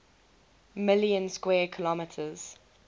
million square kilometers